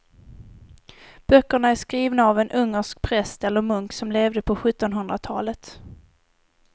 Böckerna är skrivna av en ungersk präst eller munk som levde på sjuttonhundratalet.